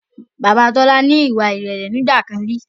Bàbá Tola ni ìwà ìrẹ̀lẹ̀ nígbàkan rí